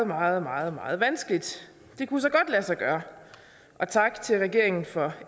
meget meget meget vanskeligt det kunne så godt lade sig gøre og tak til regeringen for